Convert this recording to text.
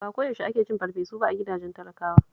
Ba ko yaushe ake cin farfesu ba a gidajen talakawa